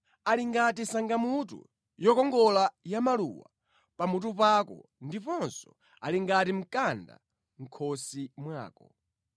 Ali ngati sangamutu yokongola ya maluwa pamutu pako ndiponso ali ngati mkanda mʼkhosi mwako.